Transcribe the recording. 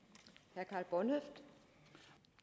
jeg